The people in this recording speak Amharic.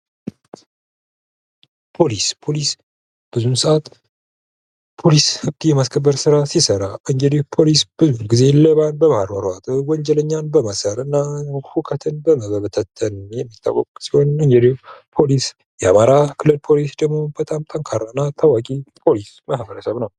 ፖሊስ ብዙን ሰዓት ህግ የማስከበር ስራ ሲሰራ ብዙ ግዜ በማሯሯጥ ወንጀለኛን በማሰርና ሁከትን በመበታተን የሚታወቅ ሲሆን የአማራ ክልል ፖሊስ ደግሞ በጣም ጠንካራና ታዋቂ ፖሊስ ማህበረሰብ ነው።